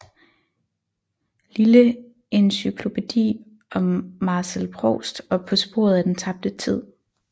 Lille encyklopædi om Marcel Proust og På sporet af den tabte tid